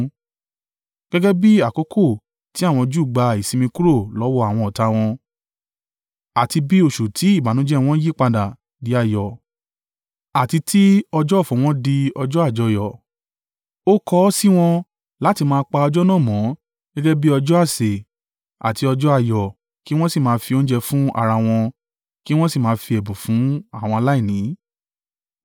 gẹ́gẹ́ bí àkókò tí àwọn Júù gba ìsinmi kúrò lọ́wọ́ àwọn ọ̀tá a wọn, àti bí oṣù tí ìbànújẹ́ ẹ wọn yí padà di ayọ̀ àti tí ọjọ́ ọ̀fọ̀ wọn di ọjọ́ àjọyọ̀. Ó kọ ọ́ sí wọn láti máa pa ọjọ́ náà mọ́ gẹ́gẹ́ bí ọjọ́ àsè àti ọjọ́ ayọ̀ kí wọn sì máa fi oúnjẹ fún ara wọn, kí wọn sì máa fi ẹ̀bùn fún àwọn aláìní.